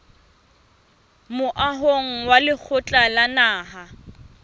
moahong wa lekgotla la naha